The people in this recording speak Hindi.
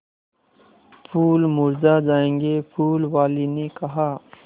फूल मुरझा जायेंगे फूल वाली ने कहा